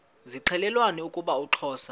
zixelelana ukuba uxhosa